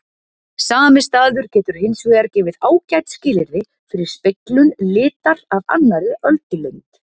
Sami staður getur hins vegar gefið ágæt skilyrði fyrir speglun litar af annarri öldulengd.